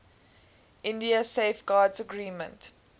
india safeguards agreement